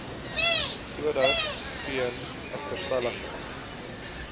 sodat geen agterstallige